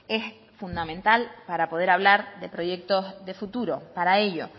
es fundamental para poder hablar de proyectos de futuro para ello